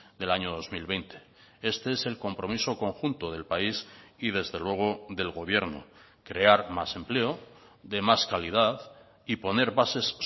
del año dos mil veinte este es el compromiso conjunto del país y desde luego del gobierno crear más empleo de más calidad y poner bases